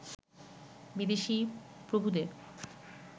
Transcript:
বিদেশি প্রভুদের